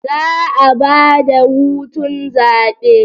Za'a ba da hutun zabe